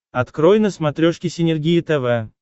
открой на смотрешке синергия тв